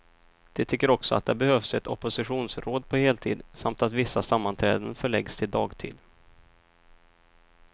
De tycker också att det behövs ett oppositionsråd på heltid, samt att vissa sammanträden förläggs till dagtid.